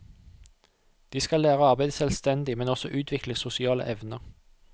De skal lære å arbeide selvstendig, men også utvikle sosiale evner.